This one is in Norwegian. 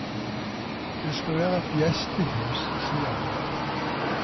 Det skal være et gjestehus, sier han.